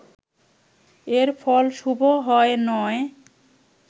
এর ফল শুভ হয় নয়